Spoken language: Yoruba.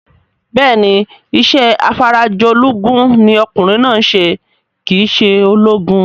Bẹ́ẹ̀ni, isẹ́ afarajolúgun ní okùnrin náà ń se kìí se ológun